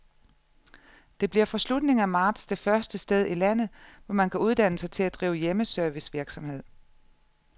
Det bliver fra slutningen af marts det første sted i landet, hvor man kan uddanne sig til at drive hjemmeservicevirksomhed.